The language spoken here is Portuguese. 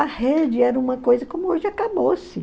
A rede era uma coisa como hoje acabou-se.